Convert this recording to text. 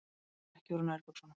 Fór ekki úr nærbuxunum.